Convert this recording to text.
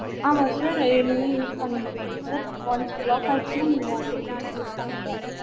ஆமா sir இனிமே use பண்ண முடியாது sir once lock ஆய்ருச்சுனா நீங்க அத திருப்பி cure பண்ணமுடியாது sir